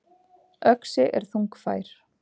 Öxi er þungfær.